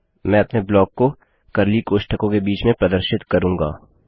मैं अपने ब्लॉक को कर्ली कोष्ठकों के बीच में प्रदर्शित करूँगा